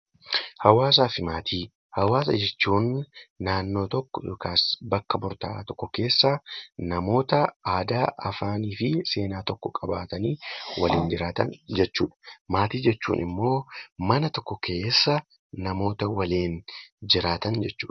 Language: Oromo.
Hawaasaa fi Maatii hawaasaa jechuun namoota naannoo tokko Afaan tokko maatii jechuun immoo namoota mana tokko keessa waliin jiraatan jechuudha